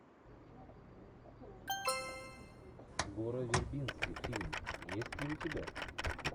гора вербински фильм есть ли у тебя